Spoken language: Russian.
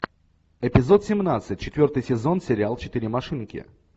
эпизод семнадцать четвертый сезон сериал четыре машинки